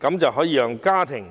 這樣可以讓家庭